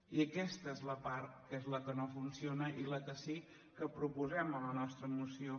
i aquesta és la part que és la que no funciona i la que sí que proposem en la nostra moció